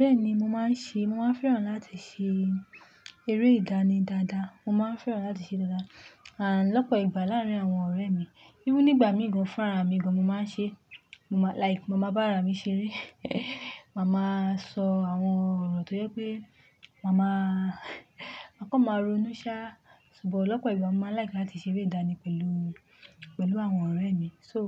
Bẹ́ẹ̀ni, mo máa ń ṣe, mo máa ń fẹ́ràn láti ṣe eré ìdánì dáadáa. Mo máa ń fẹ́ràn láti ṣe dáadáa, àn lọ́pọ̀ ìgbà láàárín àwọn ọ̀rẹ́ mi. Bíi nígbà míì gan-an, fúnra mi gan-an, mo máa ń ṣe, like màmá bá ra mi ṣeré. Màmá sọ àwọn ọ̀rọ̀ tó yẹ pé màmá máa kàn máa ronú ṣá, ṣùgbọ́n lọ́pọ̀ ìgbà mo máa like láti ṣeré ìdánì pẹ̀lú, pẹ̀lú àwọn ọ̀rẹ́ mi. So,